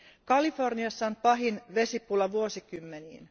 Kaliforniassa on pahin vesipula vuosikymmeniin.